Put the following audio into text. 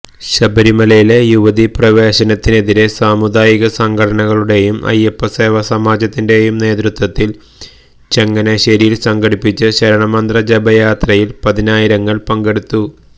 ശബരിമലയിലെ യുവതീ പ്രവേശനത്തിനെതിരെ സാമുദായിക സംഘടനകളുടെയും അയ്യപ്പസേവാ സമാജത്തിന്റെയും നേതൃത്വത്തില് ചങ്ങനാശ്ശേരിയില് സംഘടിപ്പിച്ച ശരണമന്ത്ര ജപയാത്രയില് പതിനായിരങ്ങള് പങ്കെടുത്തു